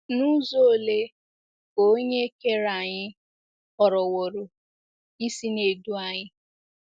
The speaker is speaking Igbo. N'uzo olee ka Onye Kere anyị họrọwooro isi na - edu anyị?